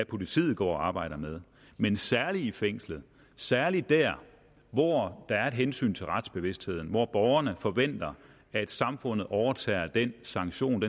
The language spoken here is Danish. politiet går og arbejder med men særligt i fængslerne og særligt der hvor der er et hensyn til retsbevidstheden hvor borgerne forventer at samfundet overtager at give den sanktion